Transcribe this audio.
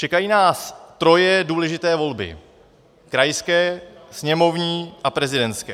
Čekají nás troje důležité volby - krajské, sněmovní a prezidentské.